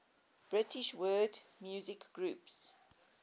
british world music groups